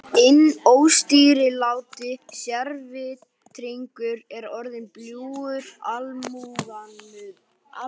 Inn óstýriláti sérvitringur er orðinn bljúgur almúgamaður.